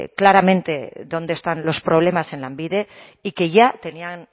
claramente dónde están los problemas en lanbide y que ya tenían